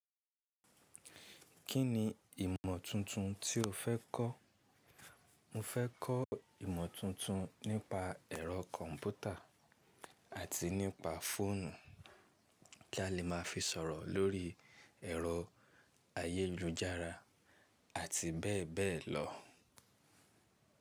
Kí ni ìmọ̀ tuntun tí o fẹ́ kọ́? Mo fẹ́ kọ́ ìmọ̀ tuntun nípa ẹ̀rọ kọ̀ǹpútà àti nípa fóònù kí a lè máa fi sọ̀rọ̀ lórí ẹ̀rọ ayélujára àti bẹ́ẹ̀ bẹ́ẹ̀ lọ.